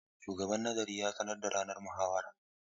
Shugaban Nazarin ya sanar da ranar muhawarar.